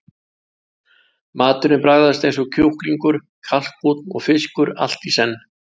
Maturinn bragðast eins og kjúklingur, kalkúnn og fiskur allt í senn.